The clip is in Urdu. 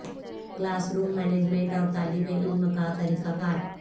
کلاس روم مینجمنٹ اور طالب علم کا طریقہ کار